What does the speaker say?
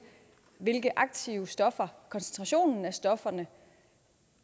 de aktive stoffer koncentrationen af stofferne